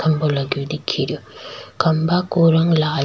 खम्भा लगो दिख रियो खम्भा को रंग लाल --